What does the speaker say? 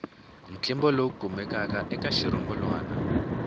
ntlimbo lowu kumekaka eka xirungulwana